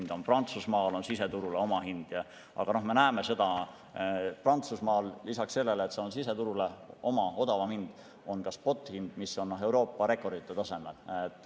Näiteks Prantsusmaal on elektril siseturul oma hind, aga me näeme seda, et lisaks sellele, et siseturule on oma odavam hind, on Prantsusmaal ka spothind, mis on Euroopa rekordite tasemel.